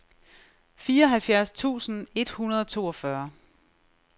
fireoghalvfjerds tusind et hundrede og toogfyrre